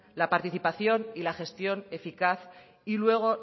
la participación y la gestión eficaz y luego